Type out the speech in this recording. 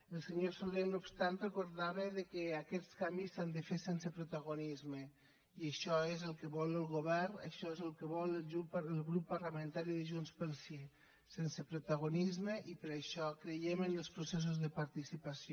el senyor soler no obstant recordava que aquests canvis s’han de fer sense protagonisme i això és el que vol el govern això és el que vol el grup parlamentari de junts pel sí sense protagonisme i per això creiem en els processos de participació